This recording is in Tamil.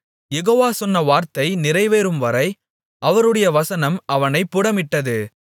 யெகோவா சொன்ன வார்த்தை நிறைவேறும்வரை அவருடைய வசனம் அவனைப் புடமிட்டது